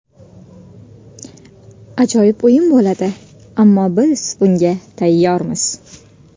Ajoyib o‘yin bo‘ladi, ammo biz bunga tayyormiz.